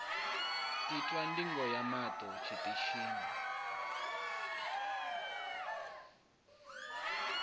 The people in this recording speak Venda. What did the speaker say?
itwa ndigo ya maṱo tshiṱitshini